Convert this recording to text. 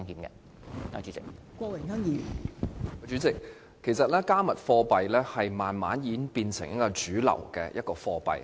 代理主席，其實"加密貨幣"已逐漸變成一種主流貨幣。